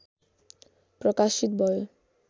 प्रकाशित भयो।